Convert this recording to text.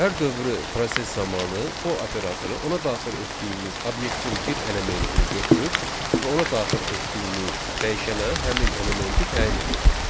Hər dövrü proses zamanı for operatoru ona daxil etdiyimiz obyektin bir elementini götürür və ona daxil etdiyimiz dəyişənə həmin elementi təyin edir.